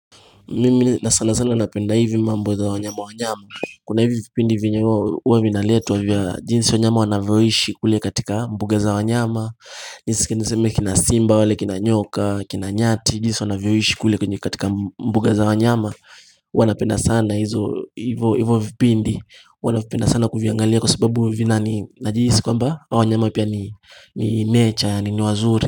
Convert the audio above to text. Mimi na sana sana napenda hivi mambo za wanyama wanyama Kuna hivi vipindi vyenye huwa vinaletwa vya jinsi wanyama wanavyoishi kule katika mbuga za wanyama jinsi niseme kina simba, wale kina nyoka, kina nyati, jinsi wanavyoishi kule katika mbuga za wanyama huwa napenda sana hivyo vipindi, huwa navipenda sana kuviangalia kwa sababu najihisi kwamba wanyama pia ni nature ni wazuri.